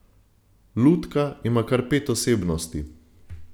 Lutka ima kar pet osebnosti.